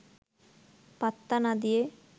পাত্তা না দিয়ে